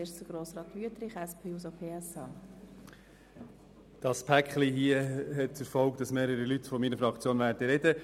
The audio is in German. Das vorliegende Paket hat zur Folge, dass mehrere Mitglieder unserer Fraktion sprechen werden.